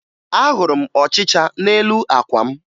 Ahụrụ m ọchịcha n'elu àkwà m